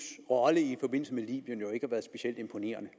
rolle i forbindelse med libyen jo ikke har været specielt imponerende